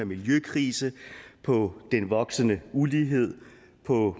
miljøkrisen på den voksende ulighed på